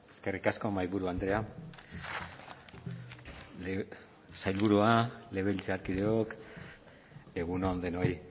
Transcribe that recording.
eskerrik asko mahaiburu andrea sailburua legebiltzarkideok egun on denoi